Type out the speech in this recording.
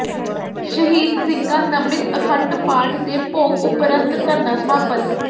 ਸ਼ਹੀਦ ਸਿੰਘਾਂ ਨਮਿਤ ਅਖੰਡ ਪਾਠ ਦੇ ਭੋਗ ਉਪਰੰਤ ਧਰਨਾ ਸਮਾਪਤ